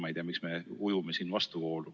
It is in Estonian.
Ma ei tea, miks me ujume vastuvoolu.